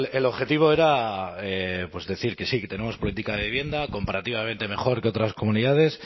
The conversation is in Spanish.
el objetivo era pues decir que sí que tenemos política de vivienda comparativamente mejor que otras comunidades